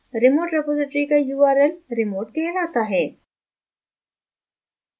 remote repository का url remote कहलाता है